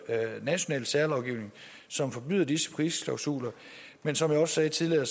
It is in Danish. national særlovgivning som forbyder disse prisklausuler men som jeg også sagde tidligere